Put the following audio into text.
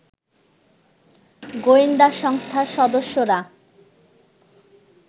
গোয়েন্দা সংস্থার সদস্যরা